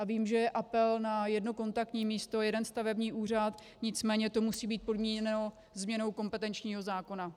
A vím, že je apel na jedno kontaktní místo, jeden stavební úřad, nicméně to musí být podmíněno změnou kompetenčního zákona.